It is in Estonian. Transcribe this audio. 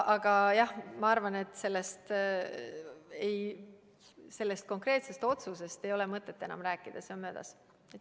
Aga jah, ma arvan, et sellest konkreetsest otsuse eelnõust ei ole mõtet enam rääkida, see on möödas.